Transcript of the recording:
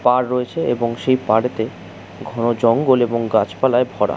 পার রয়েছে এবং পারেতে ঘন জঙ্গল এবং গাছপালায় ভরা।